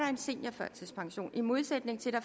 en seniorførtidspension i modsætning til at